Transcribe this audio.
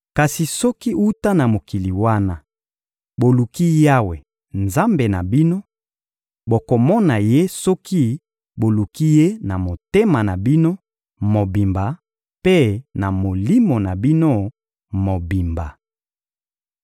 Kasi soki, wuta na mokili wana, boluki Yawe, Nzambe na bino, bokomona Ye soki boluki Ye na motema na bino mobimba mpe na molimo na bino mobimba.